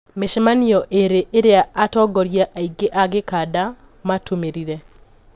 Micemanio iri iria atongoria aingi a gikanda matumirire.